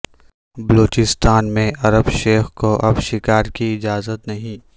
بلوچستان میں عرب شیوخ کو اب شکار کی اجازت نہیں